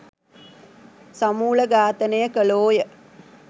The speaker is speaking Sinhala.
සමුලඝාතනය කළෝ ය.